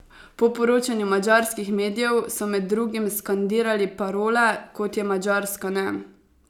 Po poročanju madžarskih medijev so med drugim skandirali parole, kot je Madžarska ne!